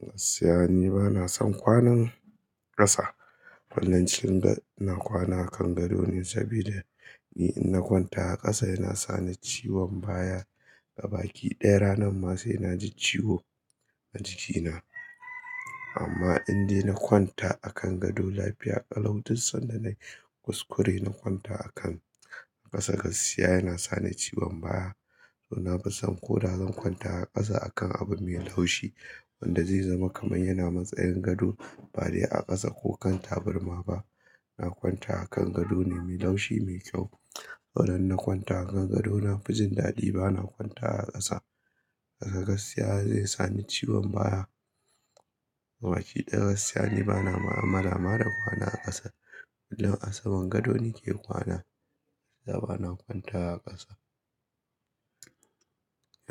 Gaskiya ni bana son kwanan ƙasa. Hollancin na kwana a kan gado ne, saboda ni in na kwanta a ƙasa yana sa ni ciwon baya. A baki ɗaya ranan ma sai na ji ciwo a jikina. Amma in dai na kwanta a kan gado, lafiya ƙalau. Duk sanda nayi kuskure na kwanta a kan ƙasa gaskiya yana sa ni ciwon baya. To na fa san ko da zan kwanta a ƙasa akan abu me laushi wanda zai zama kamar yana matsayin gado ba dai a ƙasa ko kan taburma ba. Na kwanta a kan gado ne me laushi, me kyau. Saura na kwanta a kan gado na fi jin daɗi. Bana kwanta a ƙasa. A ƙasa gaskiya zai sa ni ciwon baya. A baki ɗaya gaskiya ni bana ma'amala marar kwana a ƙasa. Kullum a saman gado ni ke kwana. A bana kwanta a ƙasa.